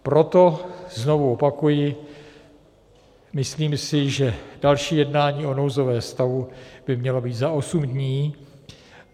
Proto znovu opakuji, myslím si, že další jednání o nouzovém stavu by mělo být za osm dní.